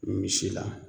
Misi la